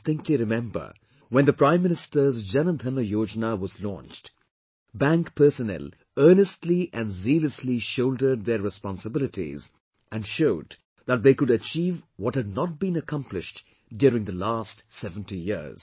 I distinctly remember, when the Prime Minister's Jan Dhan Yojana was launched, bank personnel earnestly and zealously shouldered their responsibilities and showed that they could achieve what had not been accomplished during the last 70 years